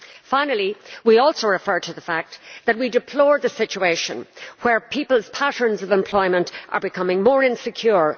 Finally, we also referred to the fact that we deplore a situation where people's patterns of employment are becoming more insecure.